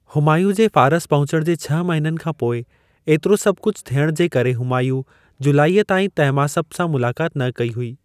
हुमायूं जे फारस पहुचण जे छह महिननि खां पोइ, एतिरो सभ कुझ थियण जे करे हुमायूँ जुलाईअ ताईं तहमासप सां मुलाकात न कई हुई।